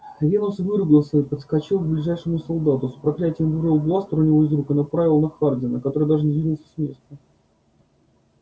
венус выругался и подскочил к ближайшему солдату с проклятием вырвал бластер у него из рук и направил на хардина который даже не сдвинулся с места